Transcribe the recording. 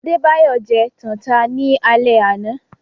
Adebayọ jẹ́ tànta ni àle àná